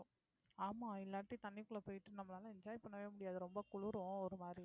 ஆமா இல்லாட்டி தண்ணிக்குள்ளே போயிட்டு நம்மளால enjoy பண்ணவே முடியாது ரொம்ப குளிரும் ஒரு மாதிரி